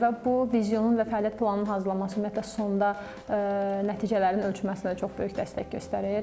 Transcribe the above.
Və bu vizyonun və fəaliyyət planının hazırlanması ümumiyyətlə sonda nəticələrin ölçməsinə də çox böyük dəstək göstərir.